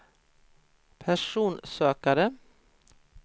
personsökare